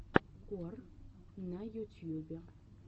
кор на ютьюбе